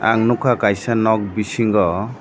ang nogkha kaisa nog bisingo.